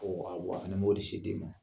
Ɔ a fana b'o de se den ma